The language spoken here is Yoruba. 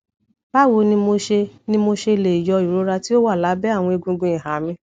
bawo ni mo ṣe ni mo ṣe le yọ irora ti o wa labẹ awọn egungun iha mi